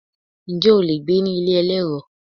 Ǹjẹ́ o lè gbé ní ilé elérò?